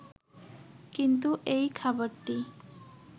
কিন্তু এই খাবারটি